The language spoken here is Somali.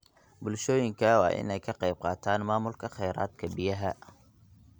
Bulshooyinka waa in ay ka qayb qaataan maamulka kheyraadka biyaha.